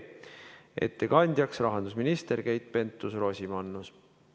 Ettekandja on rahandusminister Keit Pentus-Rosimannus.